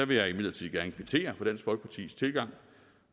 vil jeg imidlertid gerne kvittere for dansk folkepartis tilgang